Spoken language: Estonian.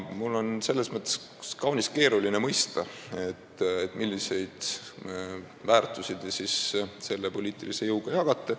Mul on selles mõttes kaunis keeruline mõista, milliseid väärtusi te selle poliitilise jõuga jagate.